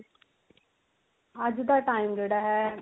ਅੱਜ ਦਾ time ਜਿਹੜਾ ਹੈ